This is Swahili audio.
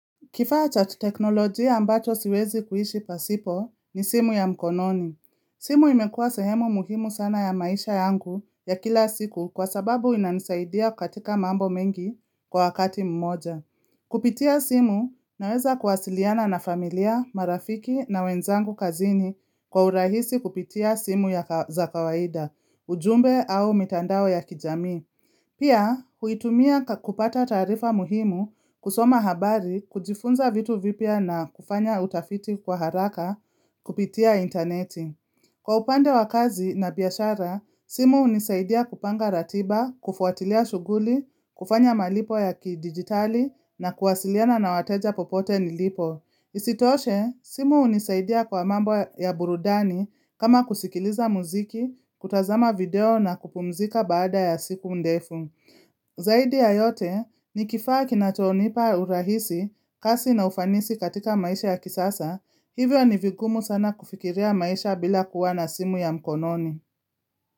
Kifaa cha teknolojia ambacho siwezi kuishi pasipo ni simu ya mkononi. Simu imekuwa sehemu muhimu sana ya maisha yangu ya kila siku kwa sababu inanisaidia katika mambo mengi kwa wakati mmoja. Kupitia simu ninaweza kuwasiliana na familia, marafiki na wenzangu kazini kwa urahisi kupitia simu ya za kawaida, ujumbe au mitandao ya kijamii. Pia, huitumia kupata taarifa muhimu kusoma habari kujifunza vitu vipya na kufanya utafiti kwa haraka kupitia interneti. Kwa upande wa kazi na biashara, simu hunisaidia kupanga ratiba, kufuatilia shughuli, kufanya malipo ya kidigitali na kuwasiliana na wateja popote nilipo. Isitoshe, simu hunisaidia kwa mambo ya burudani kama kusikiliza mziki, kutazama video na kupumzika baada ya siku ndefu Zaidi ya yote ni kifaa kinachonipa urahisi, kasi na ufanisi katika maisha ya kisasa Hivyo ni vigumu sana kufikiria maisha bila kuwa na simu ya mkononi.